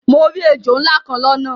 Mo ri èjò nlá kan lọ́nà